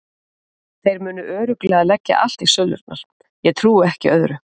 Þeir munu örugglega leggja allt í sölurnar, ég trúi ekki öðru.